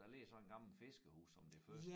Der ligger sådan gammel fiskerhus som det første